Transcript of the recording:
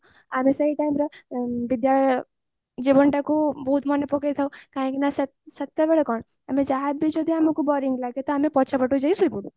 ବିଦ୍ୟାଳୟ ଜୀବନ ଟାକୁ ବହୁତ ମନେପକାଉଥାଉ କାହିକି ନା ସେତେବେଳେ କଣ ଆମେ ଯାହାବି ଯଦି ଆମକୁ boring ଲାଗେ ତ ଆମେ ପଛପଟକୁ ଯାଇକି ଶୋଇପଡୁ